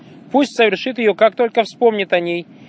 пусть совершит её как только вспомнит о ней